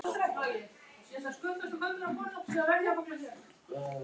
Myndaðist tapið í sams konar rekstri og yfirtökufélag stundar?